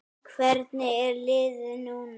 Hvernig er liðið núna?